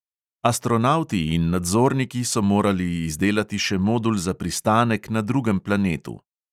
Astronavti in nadzorniki so morali izdelati še modul za pristanek na drugem planetu.